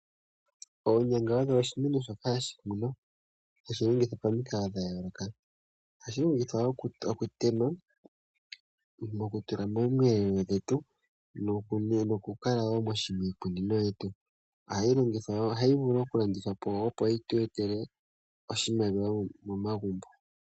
Oonyanga odho oshinima shoka hashi kunwa, hashi longithwa pamikalo dha yooloka. Ohashi longithwa wo mokuteleka, okutula moomweelelo dhetu nokukala wo miikunino. Ohayi vulu wo okulandithwa po, opo yi tu etele oshimaliwa momagumbo.